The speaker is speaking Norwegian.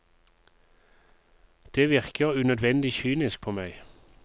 Det virker unødvendig kynisk på meg.